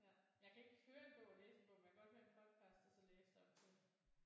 Ja jeg kan ikke høre en bog og læse en bog men jeg kan godt høre en podcast og så læse samtidigt